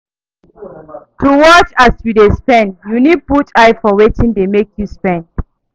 To watch as yu dey spend yu nid put eye for wetin dey mek yu spend